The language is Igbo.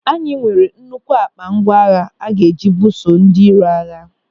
Anyị nwere nnukwu ákpá ngwa agha a ga-eji buso ndị iro agha.